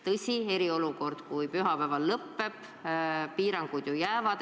Tõsi, eriolukord pühapäeval lõppeb, aga piirangud ju jäävad.